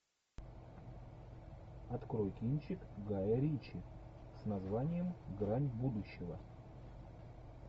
открой кинчик гая ричи с названием грань будущего